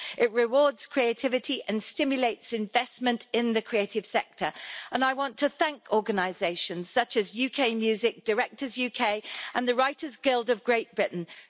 It rewards creativity and stimulates investment in the creative sector, and I want to thank organisations such as UK music, directors UK and the Writers Guild of Great Britain who...